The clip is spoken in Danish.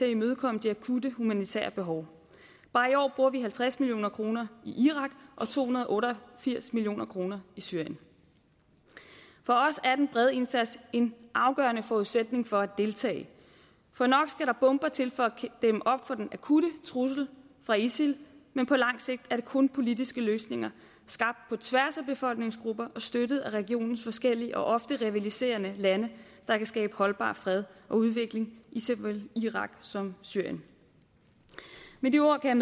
at imødekomme de akutte humanitære behov bare i år bruger vi halvtreds million kroner i irak og to hundrede og otte og firs million kroner i syrien for os er den brede indsats en afgørende forudsætning for at deltage for nok skal der bomber til for at dæmme op for den akutte trussel fra isil men på langt sigt er det kun politiske løsninger skabt på tværs af befolkningsgrupper og støttet af regionens forskellige og ofte rivaliserende lande der kan skabe holdbar fred og udvikling i såvel irak som syrien med de ord kan